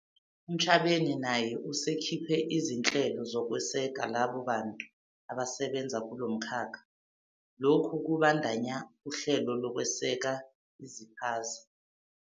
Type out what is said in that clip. . Ntshavheni naye usekhiphe izinhlelo zokweseka labo bantu abasebenza kulo mkhakha. Lokhu kubandakanya uhlelo lokweseka iziphaza.